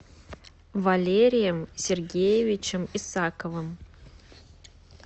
валерием сергеевичем исаковым